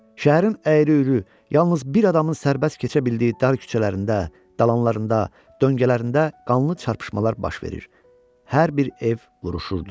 Şəhərin əyri-üyrü, yalnız bir adamın sərbəst keçə bildiyi dar küçələrində, dalanlarında, döngələrində qanlı çarpışmalar baş verir, hər bir ev vuruşurdu.